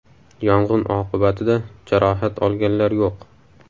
Yong‘in oqibatida jarohat olganlar yo‘q.